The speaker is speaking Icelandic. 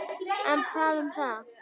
En hvað um það?